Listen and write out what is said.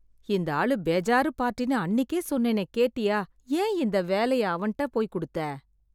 இந்த ஆளு பேஜாரு பார்ட்டினு அன்னிக்கே சொன்னேனே கேட்டியா! என் இந்த வேலை அவன்ட போய் கொடுத்த‌